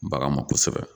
Bagan ma kosɛbɛ